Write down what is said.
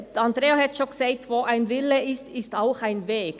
Andrea Zryd hat es bereits gesagt: Wo ein Wille ist, ist ein Weg.